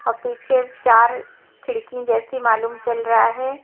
औ पीछे चार खिड़की जैसी मालूम चल रहा है।